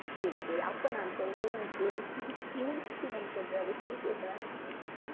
சரி சரி அப்ப நான் சொல்றேன் நீ கேளு மூணு விஷயம் சொல்றேன்